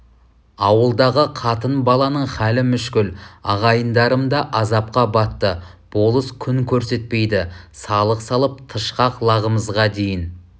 ауылдағы қатын-баланың халі мүшкіл ағайындарым да азапқа батты болыс күн көрсетпейді салық салып тышқақ лағымызға дейін